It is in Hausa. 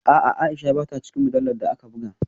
A’a, Aisha ba ta cikin mujallar da aka buga